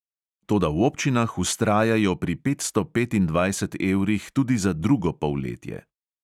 Toda v občinah vztrajajo pri petsto petindvajset evrih tudi za drugo polletje.